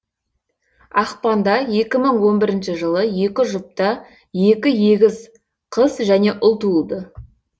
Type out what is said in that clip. ақпанда екі мың он бірінші жылы екі жұпта екі егіз қыз және ұл туылды